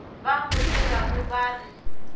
ba mo tsebago ba re